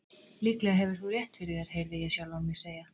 Líklega hefur þú rétt fyrir þér heyrði ég sjálfan mig segja.